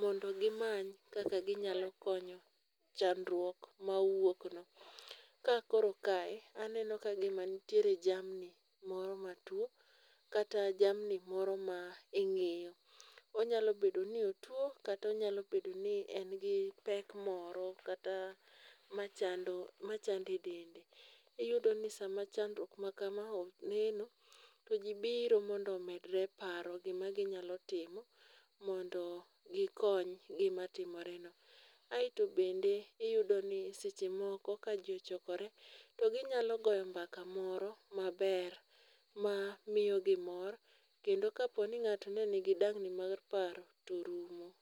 mondo gimany kaka ginyalo konyo chandruok ma owuokno. Ka koro kae anene okagima nitiere jamni moro matwo, kata jamni moro ma ing'iyo. Onyalo bedo ni otwo kata onyalo bedo ni en gi pek moro kata machando, machande e dende. Iyudo ni sama chandruok ma kama oneno, to ji biro mondo omedre paro gima ginyalo timo mondo, gikony gima timore no. Aeto bende, iyudo ni seche moko ka ji ochokore to ginyalo goyo mbaka moro maber ma miyo gimor. Kendo ka po ni ng'ato ne nigi dang'ni mar paro, to rumo.